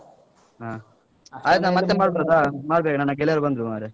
ಹ. ಆಯ್ತು ನಾನ್ ಮತ್ತೆ ಮಾಡ್ಬೋದಾ? ಮಾಡ್ಬೇಕ ನನ್ನ ಗೆಳೆಯರು ಬಂದ್ರು ಮಾರೆ.